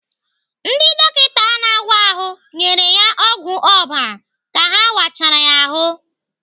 Ndị dọkịta na-áwá ahụ nyere ya ọgwụ ọbara ka ha wachara ya ahụ.